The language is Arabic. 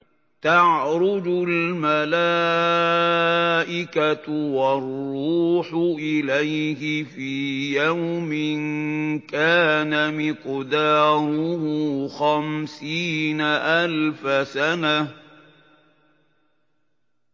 تَعْرُجُ الْمَلَائِكَةُ وَالرُّوحُ إِلَيْهِ فِي يَوْمٍ كَانَ مِقْدَارُهُ خَمْسِينَ أَلْفَ سَنَةٍ